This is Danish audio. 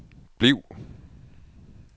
bliv